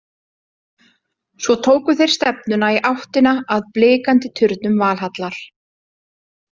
Svo tóku þeir stefnuna í áttina að blikandi turnum Valhallar.